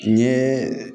N ye